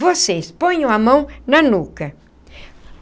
Vocês, ponham a mão na nuca.